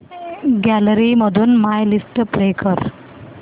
gallery मधून my list play कर